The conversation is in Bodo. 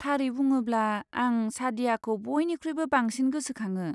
थारै बुङोब्ला, आं सादयाखौ बयनिख्रुइबो बांसिन गोसोखाङो।